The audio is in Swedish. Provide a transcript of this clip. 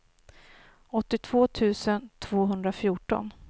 åttiotvå tusen tvåhundrafjorton